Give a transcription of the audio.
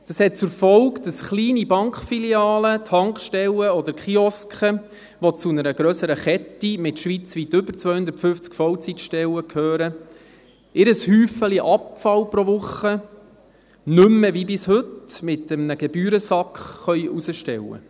Das hat zur Folge, dass kleine Bankfilialen, Tankstellen oder Kioske, die zu einer grösseren Kette mit schweizweit über 250 Vollzeitstellen gehören, ihr Häufchen Abfall pro Woche nicht mehr wie bis heute mit einem Gebührensack hinausstellen können.